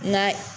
Nka